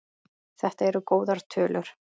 Þetta eru góðar tölur.